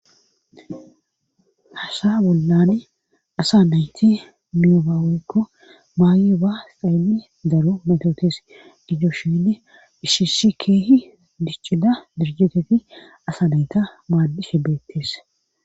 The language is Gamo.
Hasha bollani asa nayti miyobaaweykko maaye ba sxayli daro maytootes didoshiynne ishishi keehi diccida dirjeteti asa nayta maaddishe beettes.